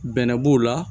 Bɛnɛ b'o la